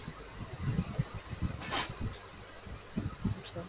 আচ্ছা।